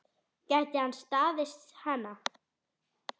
Gæti hann staðist hana?